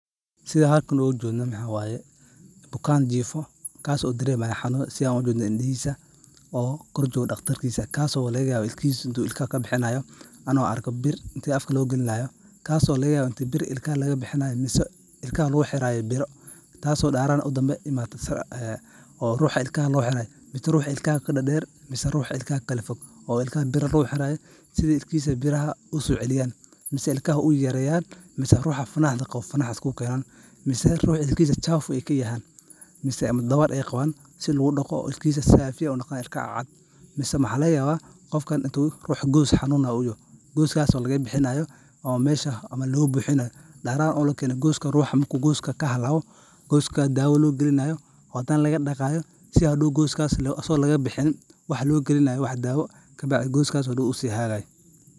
Sidha aan halkan ooga jeedno waxaa waye bukaan jiifo kaas oo dareemayo xanuun sidhaan dareemayo indihiisa oo kor joogo daqtarkiisa kaas oo laga yaabo in ilkaha kabixinaayo ilkihiisa anoo arko bir inta afka loo galinaayo kaas oo laga yaabo in ilkaha laga bixinaayo mise ilkaha laga bixinaayo taas oo beryahan danbe oo ruuxa ilkaha loo xiraayo mise ruuxa ilkaha kadadeer mise ruuxa ilkaha kakala fog oo ilkaha bir lugu xiraayo sidhi ilkihiisa biraha usoo celiyaan mise ilkaha uyayayareeyan mise ruuxa fanaxda qabo fanaxda isku keenan mise ruuxa ilkihiisa wasaq aay kayahaan mise dabar aay qabaan sidhi lagu daqo oo ilkihiisa aay noqdaan ilka cad mise mxaa laga yaaba qofkan inuu ruux goos xanuunayo uu yaho gooskaas oo laga bixinaayo ama loo buxinaayo gooska ruuxa marku gooska kahalaabo gooska daawo loo galinaayo oo hadana loo daqaayo si hadoow gooskaas asago laga bixinin waxaa loo galinayo daawo kabacdi gooskaas usii hagaagayo.